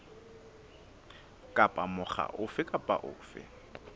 kapa mokga ofe kapa ofe